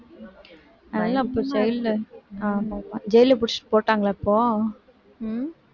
புடிச்சு jail ல ஆமா jail ல புடிச்சுட்டு போட்டாங்களா இப்போ